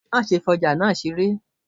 ma sé fi ojà náá seré!